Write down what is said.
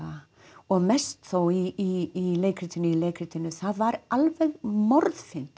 og mest þó í leikritinu í leikritinu það var alveg